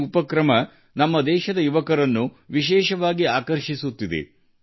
ಈ ಆರಂಭವು ವಿಶೇಷವಾಗಿ ನಮ್ಮ ದೇಶದ ಯುವಜನರನ್ನು ಆಕರ್ಷಿಸಿದೆ